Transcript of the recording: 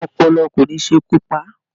Ààrùn ọpọlọ kò ní ṣekú pa á.